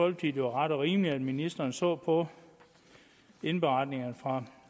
at det var ret og rimeligt at ministeren så på indberetninger fra